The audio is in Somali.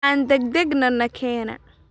Aan degdegno nakenaa